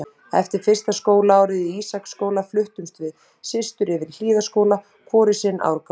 Eftir fyrsta skólaárið í Ísaksskóla fluttumst við systur yfir í Hlíðaskóla, hvor í sinn árgang.